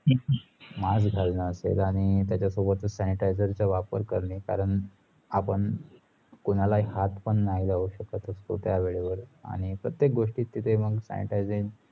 mask घालन असेल आणी त्याचा सोबत sanitizer चा वापर करणे कारण आपण कोणाला हात पण नाही लावू शकत असतो त्या वेळेवर आणि प्रत्येक गोष्टी तिथे sanitizer